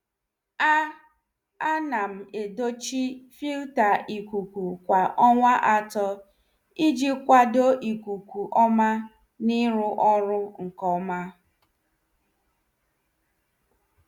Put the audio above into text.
A A nam edochi filta ikuku kwa ọnwa atọ, iji kwado ikuku ọma na iru ọrụ nke ọma.